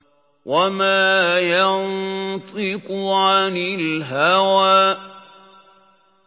وَمَا يَنطِقُ عَنِ الْهَوَىٰ